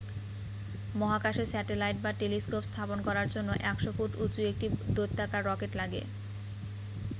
মহাকাশে স্যাটেলাইট বা টেলিস্কোপ স্থাপন করার জন্য 100 ফুট উঁচু একটি দৈত্যাকার রকেট লাগে